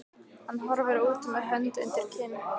Hann horfir út með hönd undir kinn.